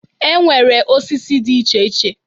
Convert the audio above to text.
E nwere osisi dị iche iche.